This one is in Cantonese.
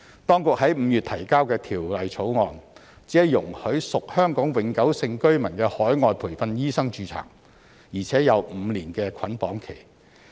當局在5月提交的《條例草案》，只容許屬香港永久性居民的海外培訓醫生註冊，而且有5年的捆綁期。